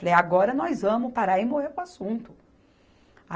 Falei, agora nós vamos parar e morreu o assunto.